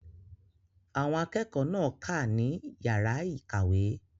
Àwọn akẹ́kọ̀ọ́ náà kà á ní yàrá ìkàwé.